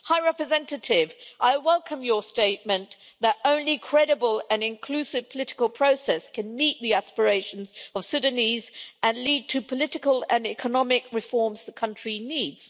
High Representative, I welcome your statement that only credible and inclusive political process can meet the aspirations of Sudanese and lead to political and economic reforms the country needs.